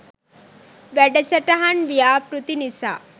වැඩසටහන් ව්‍යාපෘති නිසා